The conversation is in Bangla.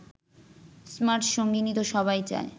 স্মার্ট সঙ্গিনী তো সবাই চায়